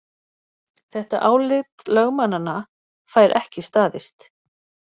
Þetta álit lögmannanna fær ekki staðist